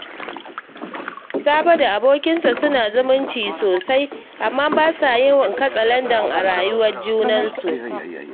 Sabo da abokinsa suna zumunci sosai, amma ba sa yin katsalandan a rayuwar junansu